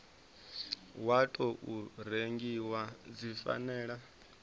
wa tou rengiwa dzi fanela